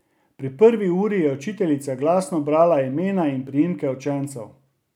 Pri prvi uri je učiteljica glasno brala imena in priimke učencev.